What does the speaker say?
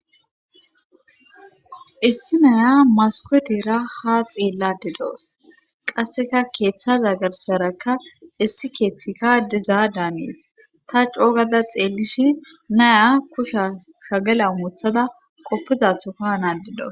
Issi naya masuketera ha xeellade dawus qasseka keeththaza garsarakka issi keeththika diza daanees ta coogada xeellishi naya kusha shagela muthada qoppizathofa naade daws